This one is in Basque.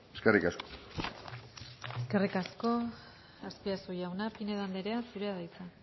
eskerrik asko eskerrik asko azpiazu jauna pinedo andrea zurea da hitza